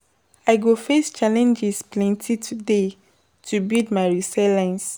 I go face challenges plenty today to build my resilience.